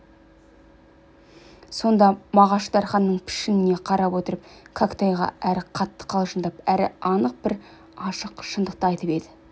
сонда мағаш дарханның пішініне қарап отырып кәкітайға әрі қатты қалжыңдап әрі анық бір ашық шынды айтып еді